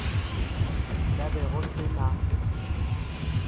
nka be go se na